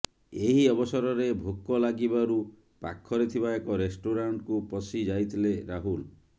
ଏହି ଅବସରରେ ଭୋକ ଲାଗିବାରୁ ପାଖରେ ଥିବା ଏକ ରେଷ୍ଟରାଣ୍ଟକୁ ପଶି ଯାଇଥିଲେ ରାହୁଲ